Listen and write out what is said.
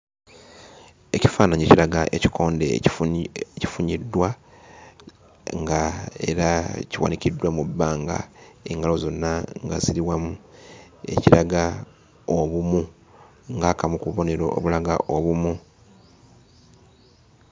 Ekifaananyi kiraga ekikonde ekifunyiddwa ng'era kiwanikiddwa mu bbanga, engalo zonna nga ziri wamu, ekiraga obumu, ng'akamu ku bubonero obulaga obumu.